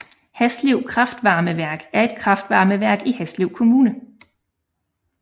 Haslev kraftvarmeværk er et kraftvarmeværk i Haslev Kommune